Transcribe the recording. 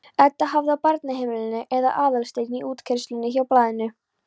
Edda hafði á barnaheimilinu eða Aðalsteinn í útkeyrslunni hjá Blaðinu.